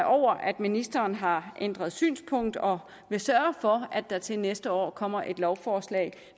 over at ministeren har ændret synspunkt og vil sørge for at der til næste år kommer et lovforslag